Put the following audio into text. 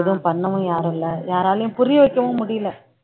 எதுவும் பண்ணவும் யாரும் இல்லை யாராலயும் புரிய வைக்கவும் முடியலை